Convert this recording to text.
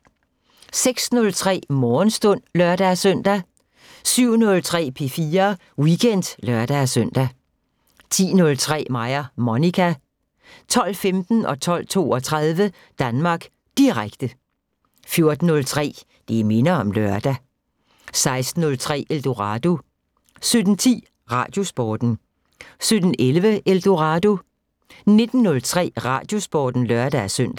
06:03: Morgenstund (lør-søn) 07:03: P4 Weekend (lør-søn) 10:03: Mig og Monica 12:15: Danmark Direkte 12:32: Danmark Direkte 14:03: Det minder om lørdag 16:03: Eldorado 17:10: Radiosporten 17:11: Eldorado 19:03: Radiosporten (lør-søn)